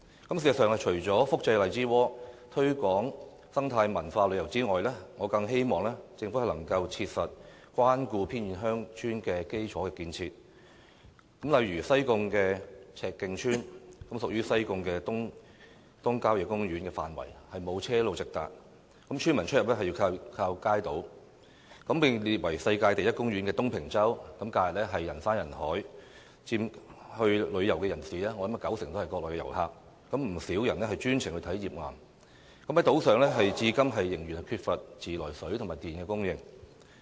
事實上，除了複製荔枝窩的例子，推廣生態文化旅遊外，我更希望政府能夠切實關顧偏遠鄉村的基礎建設，例如西貢赤徑村屬於西貢東郊野公園的範圍，沒有車路直達，村民出入要依靠街渡渡輪，而被列為世界地質公園的東平洲，在假日人山人海，我估計去當地旅遊的人士，有九成是國內遊客，不少人是專誠去看頁岩，但島上至今仍然缺乏自來水和電力供應。